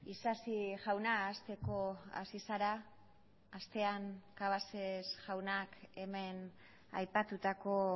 isasi jauna hasteko hasi zara astean cabases jaunak hemen aipatutako